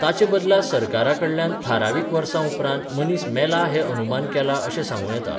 ताचे बदला सरकाराकडल्यान थारावीक वर्सां उपरांत मनीस मेला हें अनुमान केलां अशें सांगूं येता.